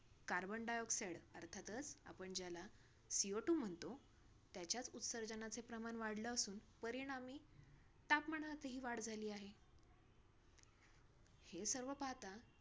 Carbon dioxide अर्थातच आपण ज्याला CO two म्हणतो, त्याच्याच उत्सर्जनाचे प्रमाण वाढलं असून, परिणामी तापमानातही वाढ झाली आहे. हे सर्व पाहता,